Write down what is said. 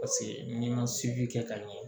Paseke n'i ma seji kɛ ka ɲɛ